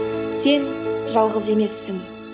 сен жалғыз емессің